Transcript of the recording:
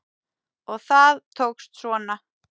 Og það tókst svona!